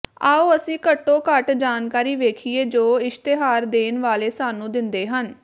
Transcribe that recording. ਆਉ ਅਸੀਂ ਘੱਟੋ ਘੱਟ ਜਾਣਕਾਰੀ ਵੇਖੀਏ ਜੋ ਇਸ਼ਤਿਹਾਰ ਦੇਣ ਵਾਲੇ ਸਾਨੂੰ ਦਿੰਦੇ ਹਨ